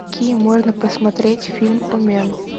какие можно посмотреть фильм омен